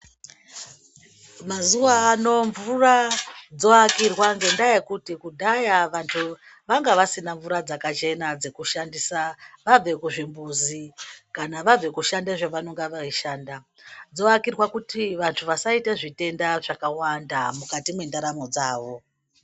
Mazuva ano mvura dzovakirwa ngendaa yokuti kudhaya vanhu vanga vasina mvura dzakachena dzokushandisa vabve kuzvimbuzi kana vabve kushanda zvavanonga veishanda, dzovakirwa kuti vantu vasaita zvitenda zvakawanda mukati mwendaramo dzavo.